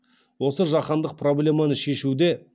осы жаһандық проблеманы шешуде